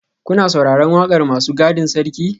Kuna sauraron wakar masu gadin sarki?